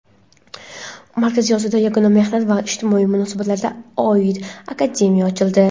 Markaziy Osiyoda yagona mehnat va ijtimoiy munosabatlarga oid akademiya ochildi.